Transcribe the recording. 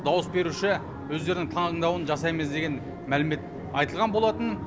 дауыс беруші өздерінің таңдауын жасаймыз деген мәлімет айтылған болатын